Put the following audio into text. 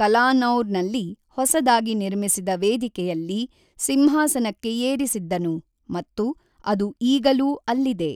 ಕಲಾನೌರ್ ನಲ್ಲಿ ಹೊಸದಾಗಿ ನಿರ್ಮಿಸಿದ ವೇದಿಕೆಯಲ್ಲಿ ಸಿಂಹಾಸನಕ್ಕೆ ಏರಿಸಿದ್ದನು ಮತ್ತು ಅದು ಈಗಲೂ ಅಲ್ಲಿದೆ.